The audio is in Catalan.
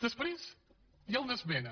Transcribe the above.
després hi ha una esmena